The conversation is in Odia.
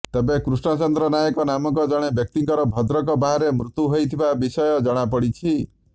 ତେବେ କୃଷ୍ଣଚନ୍ଦ୍ର ନାୟକ ନାମକ ଜଣେ ବ୍ୟକ୍ତିଙ୍କର ଭଦ୍ରକ ବାହାରେ ମୃତ୍ୟୁ ହୋଇଥିବା ବିଷୟ ଜଣାପଡିଛି